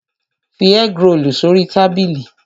Fi ẹ́grolù sórí tábìlì!